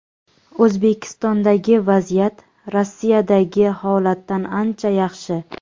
O‘zbekistondagi vaziyat Rossiyadagi holatdan ancha yaxshi.